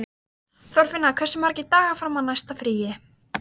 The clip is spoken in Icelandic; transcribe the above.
Þorfinna, hversu margir dagar fram að næsta fríi?